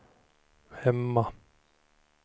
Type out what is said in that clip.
hemma